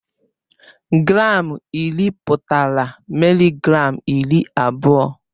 Gram iri pụtara mịlịgram iri abụọ.